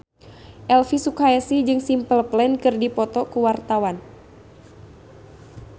Elvi Sukaesih jeung Simple Plan keur dipoto ku wartawan